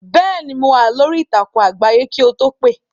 Bẹ́ẹ̀ ni, no wà lórí ìtàkùn àgbáyé kì o tó pè.